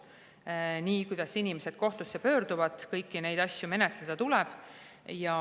Kõiki neid asju, millega inimesed kohtusse pöörduvad, tuleb menetleda.